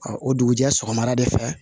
o dugujɛ sɔgɔmada de fɛ